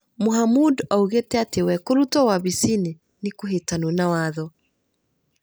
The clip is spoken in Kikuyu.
Mohamud oigire atĩ we kũrutwo wabici-inĩ nĩ kũhĩtanu na watho.